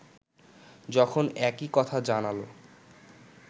যখন একই কথা জানাল